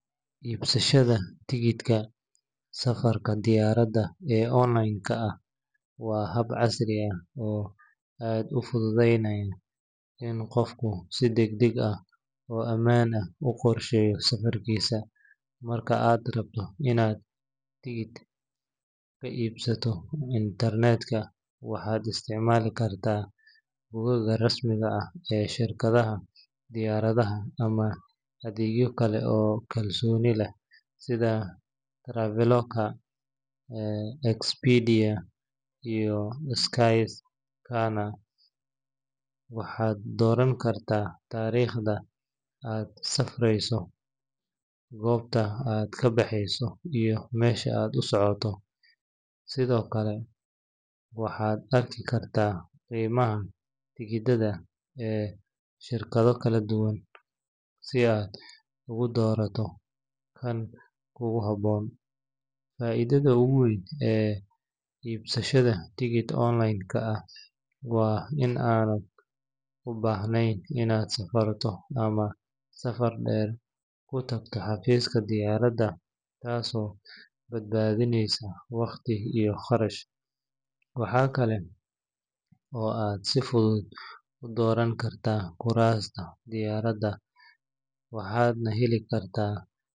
Iibsashada tigidhka safarka diyaaradda ee online-ka ah waa hab casri ah oo aad u fududeynaya in qofku si degdeg ah oo ammaan ah u qorsheeyo safarkiisa. Marka aad rabto inaad tigidh ka iibsato internetka, waxaad isticmaali kartaa bogagga rasmiga ah ee shirkadaha diyaaradaha ama adeegyo kale oo kalsooni leh sida Traveloka, Expedia iyo Skyscanner. Waxaad dooran kartaa taariikhda aad safreyso, goobta aad ka baxayso iyo meesha aad ku socoto, sidoo kalena waxaad arki kartaa qiimaha tigidhada ee shirkado kala duwan si aad ugu doorato kan kugu habboon. Faa’iidada ugu weyn ee iibsashada tigidh online-ka ah waa in aadan u baahnayn inaad safarto ama safar dheer ku tagto xafiiska diyaaradda, taasoo badbaadineysa waqti iyo kharash. Waxa kale oo aad si fudud u dooran kartaa kuraasta diyaaradda, waxaadna heli kartaa.